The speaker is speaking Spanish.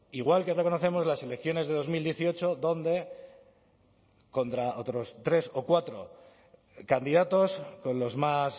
igual que reconocemos las elecciones de dos mil dieciocho donde contra otros tres o cuatro candidatos con los más